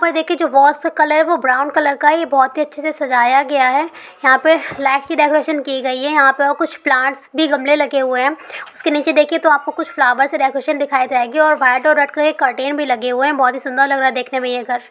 उपर देखिये जो वालस का कलर है वो ब्राउन कलर का है| ये बहुत ही अच्छे से सजाया गया है| यहां पर लाइट की डेकोरेशन की गई है| यहां पे और कुछ प्लांटस भी गमले लगे हुए हैं| उसके निचे देखिये तो आपको कुछ फ्लावर्सस से डेकोरेशन दिखाई जायेगी | में और व्हाइट और रेड कलर की कर्टेन भी लगे हुए हैं बहुत ही सुंदर लग रहा है यह देखने में ये घर।